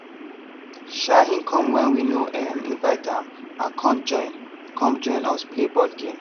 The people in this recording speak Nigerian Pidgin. um him come when we no um invite am and come join come join us play board game